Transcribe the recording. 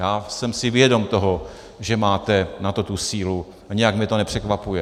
Já jsem si vědom toho, že máte na to tu sílu, a nějak mě to nepřekvapuje.